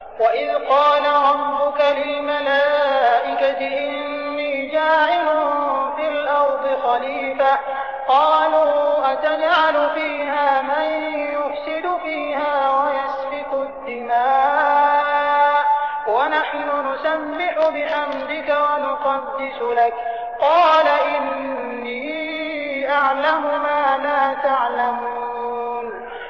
وَإِذْ قَالَ رَبُّكَ لِلْمَلَائِكَةِ إِنِّي جَاعِلٌ فِي الْأَرْضِ خَلِيفَةً ۖ قَالُوا أَتَجْعَلُ فِيهَا مَن يُفْسِدُ فِيهَا وَيَسْفِكُ الدِّمَاءَ وَنَحْنُ نُسَبِّحُ بِحَمْدِكَ وَنُقَدِّسُ لَكَ ۖ قَالَ إِنِّي أَعْلَمُ مَا لَا تَعْلَمُونَ